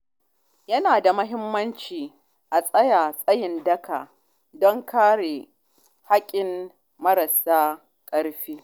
Yana da muhimmanci a tsaya tsayin daka don kare haƙƙin marasa ƙarfi.